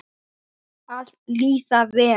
Að líða vel.